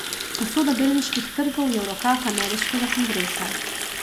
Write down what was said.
Usoda delniških trgov je v rokah ameriškega kongresa.